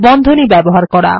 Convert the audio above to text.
বন্ধনী ব্যবহার করা